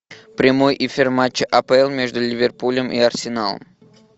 прямой эфир матча апл между ливерпулем и арсеналом